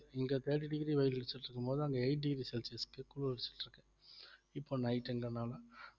இங்க thirty degree வெயில் அடிச்சுட்டு இருக்கும் போது அங்க eight degree celsius க்கு அடிச்சுட்டு இருக்கு இப்ப night time லனால